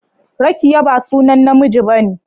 Rakiyya ba sunan namiji ba ne.